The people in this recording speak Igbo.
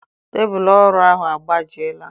Tebụlụ ọrụ ahụ agbajiela.